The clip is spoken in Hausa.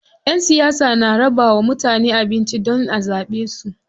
Ƴan siyasa na rabawa mutane abinci don a zaɓe su.